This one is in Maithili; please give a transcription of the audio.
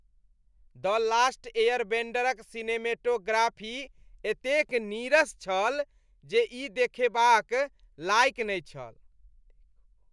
"द लास्ट एयरबेंडर"क सिनेमैटोग्राफी एतेक नीरस छल जे ई देखबोक लायक नहि छल ।